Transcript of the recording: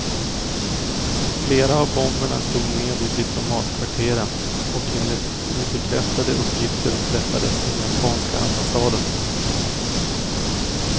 Flera av bomberna slog ned i diplomatkvarteren, och enligt obekräftade uppgifter träffades den japanska ambassaden.